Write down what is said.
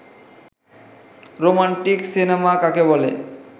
romantic cinema কাকে বলে